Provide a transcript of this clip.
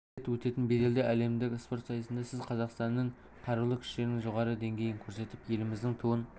рет өтетін беделді әлемдік спорт сайысында сіз қазақстанның қарулы күштерінің жоғары деңгейін көрсетіп еліміздің туын